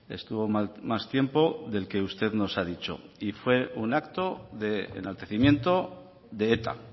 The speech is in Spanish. estuvo más tiempo del que usted nos ha dicho y fue un acto de enaltecimiento de eta